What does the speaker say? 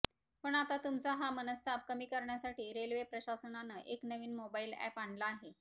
पण आता तुमचा हा मनस्ताप कमी करण्यासाठी रेल्वे प्रशासनानं एक नवीन मोबाईल अॅप आणला आहे